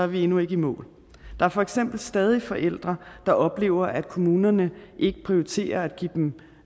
vi endnu ikke i mål der er for eksempel stadig forældre der oplever at kommunerne ikke prioriterer at give dem